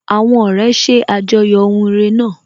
Àwọn ọ̀rẹ́ ṣe àjọyọ̀ ohun ire náà.